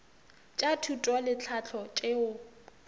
tša thuto le tlhahlo tšeo